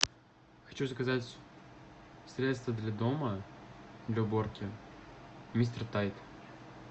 хочу заказать средство для дома для уборки мистер тайд